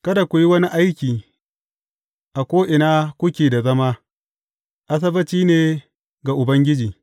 Kada ku yi wani aiki a ko’ina kuke da zama, Asabbaci ne ga Ubangiji.